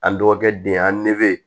An dɔgɔkɛ den an nege